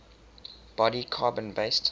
body carbon based